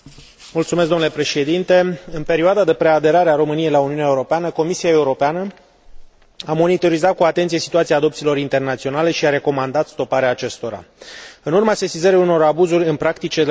În perioada de preaderare a României la Uniunea Europeană, Comisia Europeană a monitorizat cu atenție situația adopțiilor internaționale și a recomandat stoparea acestora, în urma sesizării unor abuzuri în practicile de adopție